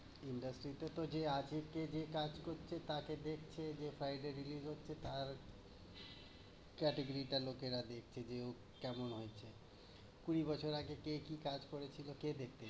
Indurstry টাতে তো যে আগে কি দিয়ে কাজ করছে তাকে দেখছে। যে file টা release হচ্ছে তার কাছে ও কেমন হয়েছে। কুড়ি বছর আগে কে কি কাজ করেছিলো কে দেখবে?